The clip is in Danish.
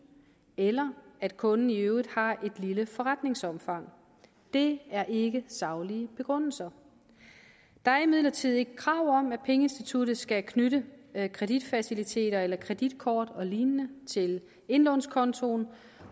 eller at kunden i øvrigt har et lille forretningsomfang det er ikke saglige begrundelser der er imidlertid ikke krav om at pengeinstituttet skal knytte kreditfaciliteter eller kreditkort og lignende til indlånskontoen